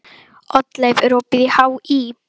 Oddleif, er opið í HÍ?